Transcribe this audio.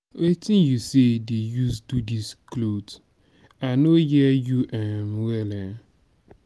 wetin you say dey use do dis cloth? i no hear you um well. um